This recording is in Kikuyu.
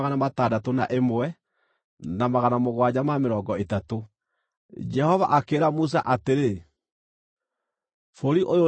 “Bũrũri ũyũ nĩguo makagaĩrwo ũtuĩke igai rĩao kũringana na mũigana wa marĩĩtwa mao.